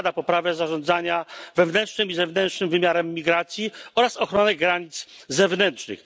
zakłada poprawę zarządzania wewnętrznym i zewnętrznym wymiarem migracji oraz ochronę granic zewnętrznych.